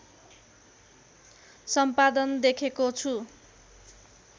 सम्पादन देखेको छु